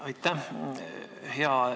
Aitäh!